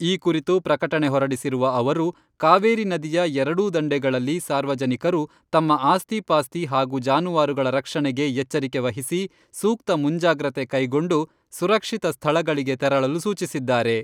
ಈ ಕುರಿತು ಪ್ರಕಟಣೆ ಹೊರಡಿಸಿರುವ ಅವರು, ಕಾವೇರಿ ನದಿಯ ಎರಡೂ ದಂಡೆಗಳಲ್ಲಿ ಸಾರ್ವಜನಿಕರು ತಮ್ಮ ಆಸ್ತಿ ಪಾಸ್ತಿ ಹಾಗೂ ಜಾನುವಾರುಗಳ ರಕ್ಷಣೆಗೆ ಎಚ್ಚರಿಕೆ ವಹಿಸಿ ಸೂಕ್ತ ಮುಂಜಾಗ್ರತೆ ಕೈಗೊಂಡು ಸುರಕ್ಷಿತ ಸ್ಥಳಗಳಿಗೆ ತೆರಳಲು ಸೂಚಿಸಿದ್ದಾರೆ.